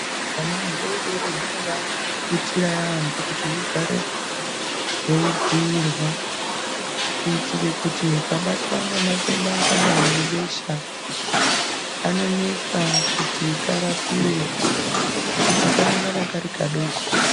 Huana hudoodori hunoda kuputirwa yaambo kuti hugare hweidziirwa, kuitire kuti hukabatwa ngematende akadai ngebesha kanonetsa kuti karapiwe ngekuti kanongana kari kadoko